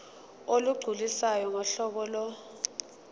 olugculisayo ngohlobo lo